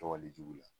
Tɔgɔ le jugu la